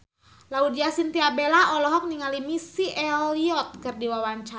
Laudya Chintya Bella olohok ningali Missy Elliott keur diwawancara